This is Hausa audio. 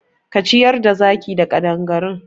Ka ciyar da zakin da ƙadangaru!